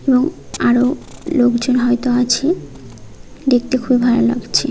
এবং আরো লোকজন হয়তো আছে দেখতে খুব ভালো লাগছে।